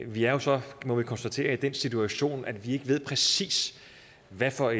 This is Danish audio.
vi er jo så må vi konstatere i den situation at vi ikke ved præcis hvad for